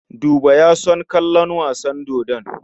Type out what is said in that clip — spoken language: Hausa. Buba ba ya son kallon wasan dodo.